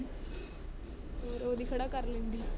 ਉਹ ਰੋਜ਼ ਹੀ ਖੜਾ ਕਰ ਲੈਂਦੀ ਹੈ।